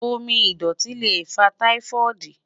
Omi idọti le fa Typhoid